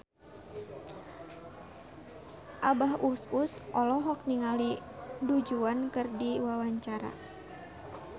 Abah Us Us olohok ningali Du Juan keur diwawancara